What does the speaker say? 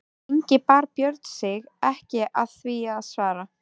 Lengi bar Björn sig ekki að því að svara.